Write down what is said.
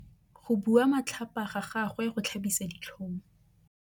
Go bua matlhapa ga gagwe go tlhabisa ditlhong.